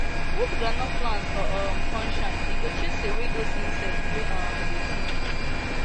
put groundnut plant for um sun shine e go chase away away those insect wey um dey dig